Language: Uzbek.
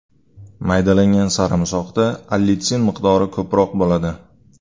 Maydalangan sarimsoqda allitsin miqdori ko‘proq bo‘ladi.